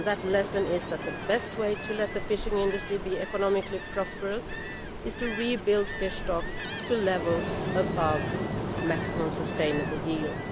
That lesson is that the best way to let the fishing industry become economically prosperous is to rebuild fish stocks to a level above maximum sustainable yield.